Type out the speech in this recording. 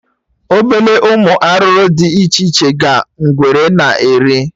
Obele ụmụ arụrụ dị iche iche ka ngwere na-eri